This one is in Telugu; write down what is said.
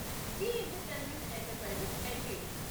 G entertainment enterprises LTD